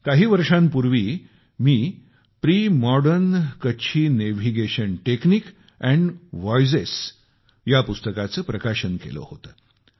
काही वर्षांपूर्वी मी premodern Kutchi navigation technique and voyages या पुस्तकाचे अनावरण केले होते